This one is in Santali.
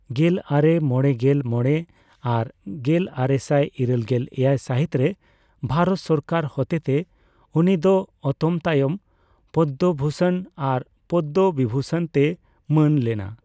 ᱜᱮᱞᱟᱨᱮ ᱢᱚᱲᱮᱜᱮᱞ ᱢᱚᱲᱮ ᱟᱨ ᱜᱮᱞᱟᱨᱮᱥᱟᱭ ᱤᱨᱟᱹᱞᱜᱮᱞ ᱮᱭᱟᱭ ᱥᱟᱹᱦᱤᱛ ᱨᱮ ᱵᱷᱟᱨᱚᱛ ᱥᱚᱨᱠᱟᱨ ᱦᱚᱛᱮᱛᱮ ᱩᱱᱤᱫᱚ ᱚᱛᱚᱢᱛᱟᱭᱚᱢ ᱯᱚᱫᱽᱫᱚᱵᱷᱩᱥᱚᱱ ᱟᱨ ᱯᱚᱫᱽᱫᱚᱵᱤᱵᱷᱩᱥᱚᱱ ᱛᱮᱭ ᱢᱟᱹᱱ ᱞᱮᱱᱟ ᱾